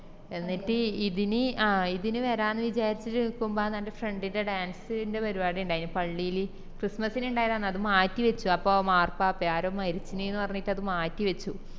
എന്നിറ്റ് ഇതിന് ആ ഇതിന് വേരാന്ന് വിചാരിച്ചിറ്റ് നിക്കുമ്പാന്ന് എൻ്റെ friend ന്ടെ dance ന്ടെ പരിപാടി ഇണ്ടായിന് പള്ളില് christmas ന് ഇണ്ടായതാണ് അത് മാറ്റിവെച്ചു അപ്പൊ മാർപ്പാപ്പയോ ആരോ മരിച്ചിന്ന് പറഞ്ഞിറ്റ് മാറ്റിവെച്ചു